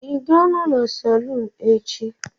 Ị ga-anọ na salon echi?